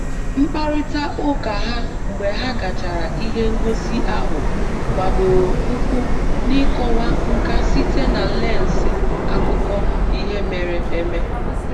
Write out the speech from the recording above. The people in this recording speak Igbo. Mkparịta ụka ha mgbe ha gachara ihe ngosi ahụ gbadoro ụkwụ n'ịkọwa nka site na lensị akụkọ ihe mere eme